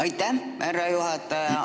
Aitäh, härra juhataja!